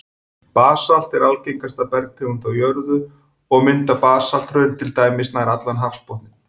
Basalt er algengasta bergtegund á jörðu, og mynda basalthraun til dæmis nær allan hafsbotninn.